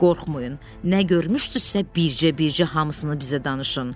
Qorxmayın, nə görmüşdünüzsə, bircə-bircə hamısını bizə danışın.